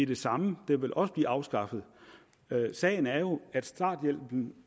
det samme den vil også blive afskaffet sagen er jo at starthjælpen